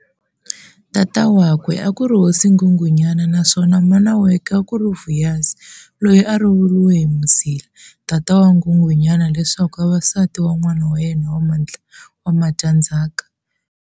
Tata wakwe akuri Hosi Nghunghunyana naswona mana wakwe akuri Vuyazi, loyi a a lovoriwe hi Mzila, tata wa Nghunghunyana leswaku ava nsati wan'wana wa yena wa mudyandhzaka.